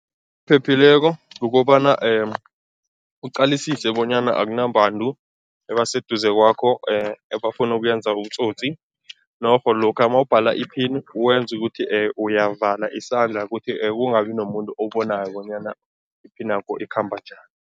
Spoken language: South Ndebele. Phephileko kukobana uqalisise bonyana akunabantu ebaseduze kwakho ebafuna ukuyenza ubutsotsi norho lokha mawubhala iphini wenze ukuthi uyavala isandla ukuthi kungabi nomuntu obonako bonyana iphinakho ikhamba njani.